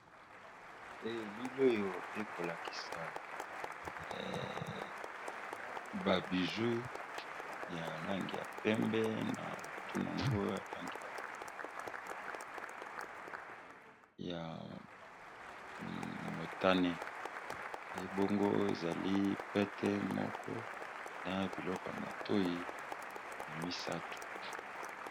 Elili oyo ekolakisa ba bijoux ya langi ya pembe, na langi ya motane, ebongo ezali pete, médaille ,n'a biloko ya matoyi.